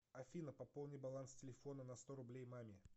афина пополни баланс телефона на сто рублей маме